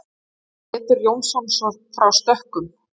Pétur Jónsson frá Stökkum.